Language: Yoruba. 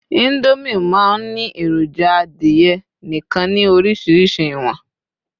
Indomie ma n Ni eroja adìye nìkan ni orísirísi iwọn